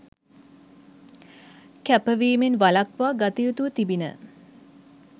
කැප වීමෙන් වළක්වා ගතයුතුව තිබිණ.